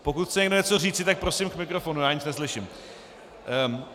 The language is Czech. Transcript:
Pokud chce někdo něco říci, tak prosím k mikrofonu, já nic neslyším.